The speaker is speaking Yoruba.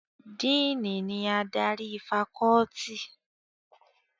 Díìnì ni adarí fakọ́ọ́tì.